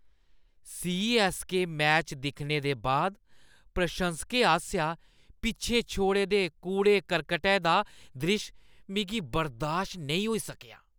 CSK match दिक्खने दे बाद प्रशंसकें आसेआ पिच्छें छोड़े दे कूड़े-करकटै दा द्रिश्श मिगी बर्दाश्त नेईं होई सकेआ।